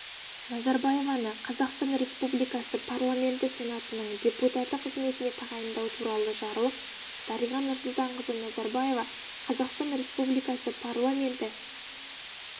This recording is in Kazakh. назарбаеваны қазақстан республикасы парламенті сенатының депутаты қызметіне тағайындау туралы жарлық дариға нұрсұлтанқызы назарбаева қазақстан республикасы парламенті